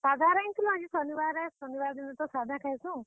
ସାଧା ରାନ୍ଧିଁଥିଲୁ, ଆଜି ଶନିବାର ଆଏ। ଶନିବାର ଦିନ ତ ସାଧା ଖାଏଁସୁଁ।